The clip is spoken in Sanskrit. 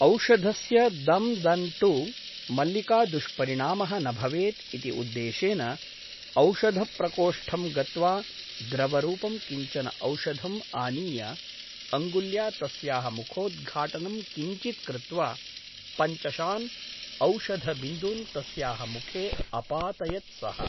औषधस्य दम् दन् टु मल्लिकादुष्परिणामः न भवेत् इति उद्देशेन औषधप्रकोष्ठं गत्वा द्रवरूपं किञ्चन औषधम् आनीय अङ्गुल्या तस्याः मुखोद्घाटनं किञ्चित् कृत्वा पञ्चषान् औषधबिन्दून् तस्याः मुखे अपातयत् सः ।